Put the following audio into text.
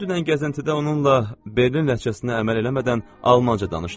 Mən dünən gəzintidə onunla Berlin ləhcəsinə əməl eləmədən almanca danışdım.